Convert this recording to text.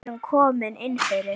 Við erum komin inn fyrir